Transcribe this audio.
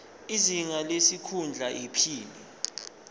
izinga lesikhundla iphini